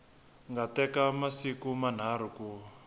nga teka masiku manharhu ku